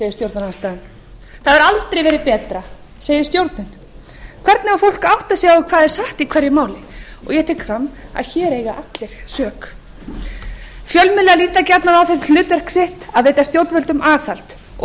stjórnarandstaðan það hefur aldrei verið betra segir stjórnin hvernig á fólk að átta sig á hvað er satt í hverju máli ég tek fram að hér eiga allir sök fjölmiðlar líta gjarnan á það sem hlutverk sitt að veita stjórnvöldum aðhald og